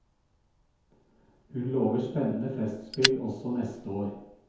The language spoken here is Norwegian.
Hun lover spennende festspill også neste år.